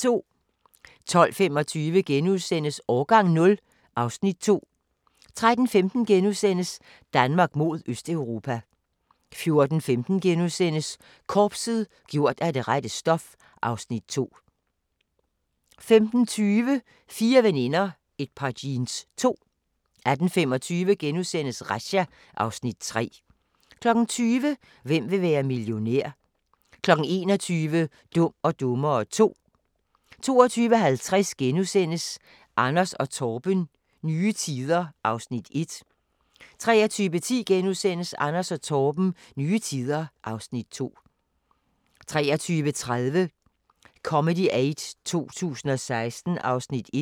12:25: Årgang 0 (Afs. 2)* 13:15: Danmark mod Østeuropa * 14:15: Korpset – gjort af det rette stof (Afs. 2)* 15:20: Fire veninder – et par jeans 2 18:25: Razzia (Afs. 3)* 20:00: Hvem vil være millionær? 21:00: Dum og dummere 2 22:50: Anders & Torben – nye tider (Afs. 1)* 23:10: Anders & Torben – nye tider (Afs. 2)* 23:30: Comedy Aid 2016 (1:2)